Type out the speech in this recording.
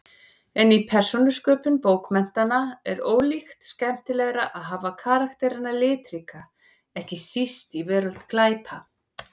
En í persónusköpun bókmenntanna er ólíkt skemmtilegra að hafa karakterana litríka, ekki síst í veröld glæpa.